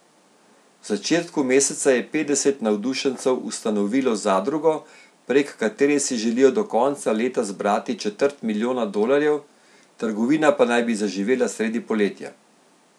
V začetku meseca je petdeset navdušencev ustanovilo zadrugo, prek katere si želijo do konca leta zbrati četrt milijona dolarjev, trgovina pa naj bi zaživela sredi poletja.